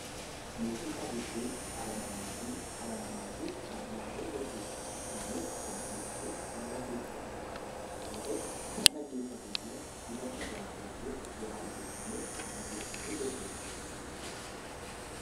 Muuziqaa jechuun dhala namaatiin dhala namaatiif kan dhiyaatu jechuudha. Innis kan dhiyeessu miira keessa isaa jiru kan ibsatu yoo ta'u, kan dhaggeeffatu immoo hubannoo irraa argachuuf bu'aa aartii sammuuf kan dhaggeeffatu jechuudha.